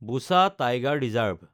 Buxa tiger reserve